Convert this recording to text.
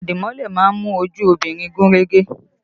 Irun àdìmọ́lẹ̀ má ń mú ojú obìnrin gún régé